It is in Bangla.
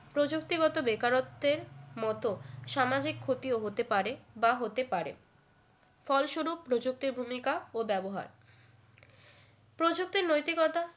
প্রযুক্তিগত বেকারত্বের মতো সামাজিক ক্ষতিও হতে পারে বা হতে পারে ফলস্বরূপ প্রযুক্তির ভূমিকা ও ব্যবহার প্রযুক্তির নৈতিকতা